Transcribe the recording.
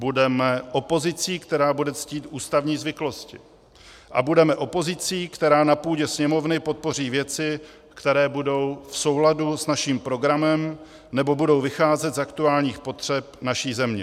Budeme opozicí, která bude ctít ústavní zvyklosti, a budeme opozicí, která na půdě Sněmovny podpoří věci, které budou v souladu s naším programem nebo budou vycházet z aktuálních potřeb naší země.